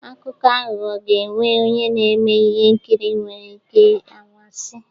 Akụkọ aghụghọ ga-enwe onye na-eme ihe nkiri nwere ike anwansi